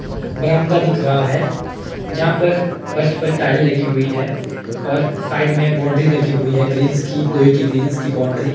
बरामदा दिख रहा है यहां पर फर्श पर टाइल लगी हुई है और साइड में बाउंड्री लगी हुई है ग्रिल्स की लोहे की ग्रिल्स की बाउंड्री ।